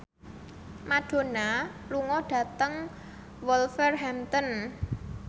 Madonna lunga dhateng Wolverhampton